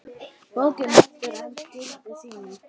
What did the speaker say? Bókin heldur enn gildi sínu.